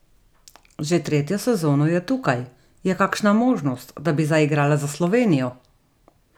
Že tretjo sezono je tukaj, je kakšna možnost, da bi zaigrala za Slovenijo?